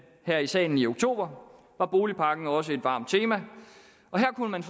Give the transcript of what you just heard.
her i salen i oktober var boligpakken også et varmt tema og her kunne man